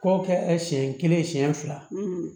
K'o kɛ siɲɛ kelen siɲɛ fila